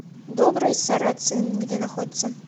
добрый сарацин где находится